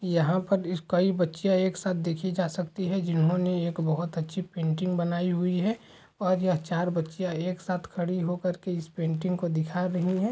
यहाँ पर कई बच्चियाँ एक साथ देखी जा सकती है जिन्होंने एक बोहत अच्छी पेंटिंग बनाई हुई हैं और यह चार बच्चियाँ एक साथ खड़ी हो कर के इस को पेंटिंग को दिखा रही हैं।